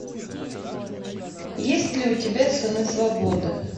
есть ли у тебя сыны свободы